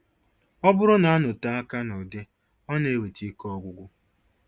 Ọ bụrụ na-anọte aka nụdị ọ na-eweta ike ọgwụgwụ.